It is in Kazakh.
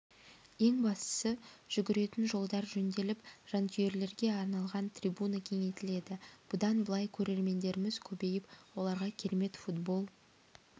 ең бастысы жүгіретін жолдар жөнделіп жанкүйерлерге арналған трибуна кеңейтіледі бұдан былай көрермендеріміз көбейіп оларға керемет футбол